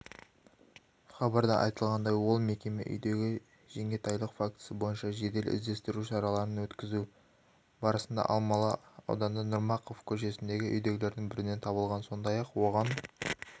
хабарда айтылғандай ол мекеме үйдегі жеңгетайлық фактісі бойынша жедел-іздестіру шараларын өткізу барысында алмалы ауданы нұрмақов көшесіндегі үйлердің бірінен табылған сондай-ақ оған